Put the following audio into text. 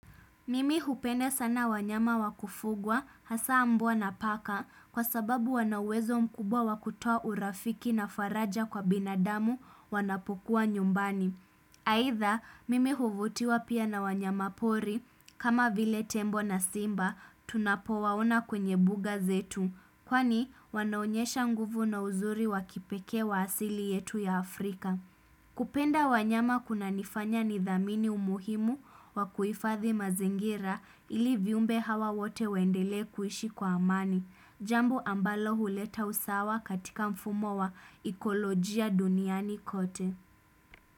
Mimi hupenda sana wanyama wa kufugwa hasa mbwa na paka kwa sababu wana uwezo mkubwa wa kutoa urafiki na faraja kwa binadamu wanapokua nyumbani. Aidha mimi huvutiwa pia na wanyama pori kama vile tembo na simba tunapowaona kwenye buga zetu kwani wanaonyesha nguvu na uzuri wa kipekee wa asili yetu ya Afrika. Kupenda wanyama kunanifanya nidhamini umuhimu wa kuhifadhi mazingira ili viumbe hawa wote waendelee kuishi kwa amani, jambo ambalo huleta usawa katika mfumo wa ikolojia duniani kote.